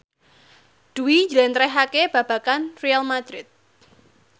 Dwi njlentrehake babagan Real madrid